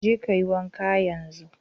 Je ka yi wanka yanzu.